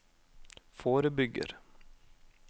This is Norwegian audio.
forebygger